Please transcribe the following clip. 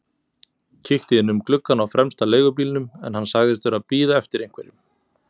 Kíkti inn um gluggann á fremsta leigubílnum en hann sagðist vera að bíða eftir einhverjum.